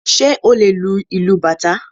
Ṣé o lè lu ìlú bàtá?